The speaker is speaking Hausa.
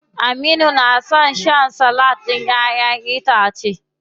Aminu na son shan salak ɗin ƴaʼƴen itace.